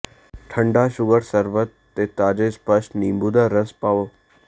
ਠੰਢਾ ਸ਼ੂਗਰ ਸ਼ਰਬਤ ਅਤੇ ਤਾਜ਼ੇ ਸਪੱਸ਼ਟ ਨਿੰਬੂ ਦਾ ਰਸ ਪਾਓ